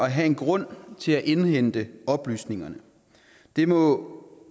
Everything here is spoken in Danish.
at have en grund til at indhente oplysningerne det må